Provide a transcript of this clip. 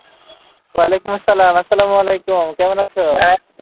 ওয়ালাইকুম আসসালাম, আসসালাম আলাইকুম কেমন আছো ভাইয়া?